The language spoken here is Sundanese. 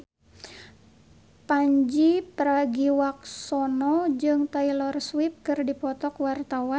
Pandji Pragiwaksono jeung Taylor Swift keur dipoto ku wartawan